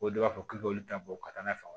O de b'a fɔ k'i k'olu ta bɔ ka taa n'a ye